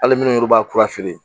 Hali minnu b'a kura feere